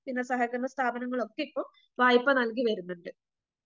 പിന്നെ സഹകരണ സ്ഥാപനങ്ങളൊക്കെ ഇപ്പൊ വായ്‌പ നൽകി വരുന്നുണ്ട്.